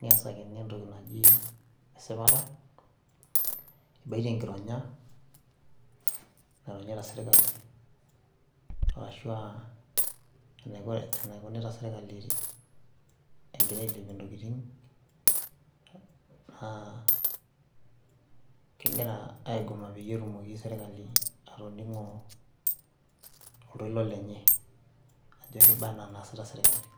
neesakini entoki naji esipata, ibaitie enkironya, naironyita sirkali, ashu aa enaironyita sirkali egira ailepie ntokitin anaa kegira aigoma peyie etumoki sirkali, atoning'o oltoilo lenye, ajo keiba ena naasita serkali.